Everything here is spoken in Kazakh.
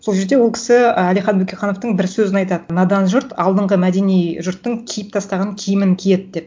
сол жерде ол кісі әлихан бөкейхановтың бір сөзін айтады надан жұрт алдыңғы мәдени жұрттың киіп тастаған киімін киеді деп